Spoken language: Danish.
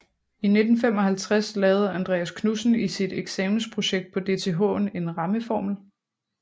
I 1955 lavede Andreas Knudsen i sit eksamensprojekt på DTH en rammeformel